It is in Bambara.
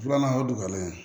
Filanan o ye dugulen